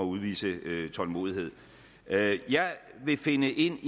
udvise tålmodighed jeg vil finde ind